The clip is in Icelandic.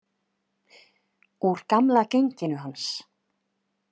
Úr gamla genginu hans.